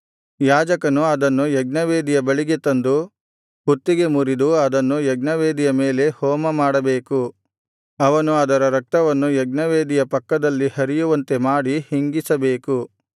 ಯಾಜಕನು ಅದನ್ನು ಯಜ್ಞವೇದಿಯ ಬಳಿಗೆ ತಂದು ಕುತ್ತಿಗೆ ಮುರಿದು ಅದನ್ನು ಯಜ್ಞವೇದಿಯ ಮೇಲೆ ಹೋಮ ಮಾಡಬೇಕು ಅವನು ಅದರ ರಕ್ತವನ್ನು ಯಜ್ಞವೇದಿಯ ಪಕ್ಕದಲ್ಲಿ ಹರಿಯುವಂತೆ ಮಾಡಿ ಹಿಂಗಿಸಬೇಕು